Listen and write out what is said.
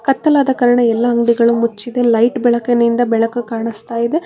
ಕತ್ತಲಾದ ಕಾರಣ ಎಲ್ಲಾ ಅಂಗಡಿಗಳು ಮುಚ್ಚಿದೆ ಲೈಟ್ ಬೆಳಕಿನಿಂದ ಬೆಳಕು ಕಾಣಿಸ್ತಾ ಇದೆ.